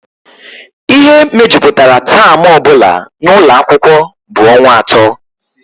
Ihe mejupụtara taam ọ bụla n'ụlọ akwụkwọ bụ ọnwa atọ